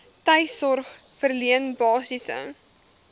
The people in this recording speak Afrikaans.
tuissorg verleen basiese